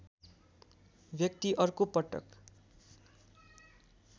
व्यक्ति अर्को पटक